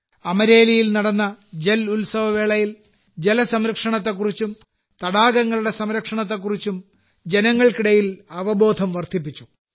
അമരേലിയിൽ നടന്ന ജൽ ഉത്സവവേളയിൽ ജലസംരക്ഷണത്തെക്കുറിച്ചും തടാകങ്ങളുടെ സംരക്ഷണത്തെക്കുറിച്ചും ജനങ്ങൾക്കിടയിൽ അവബോധം വർദ്ധിപ്പിച്ചു